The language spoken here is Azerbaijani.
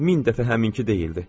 Min dəfə həminki deyildi.